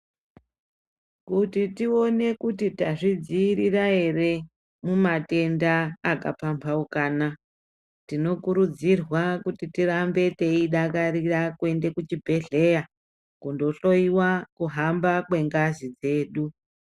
Kuti tione kuti tazvidziirira ere mumatenda akapambaukana tinokurudzirwa kuti tirambe teidakarira kuenda kuchibhehleya kundohloyiwa kuhamba kwengazi dzedu.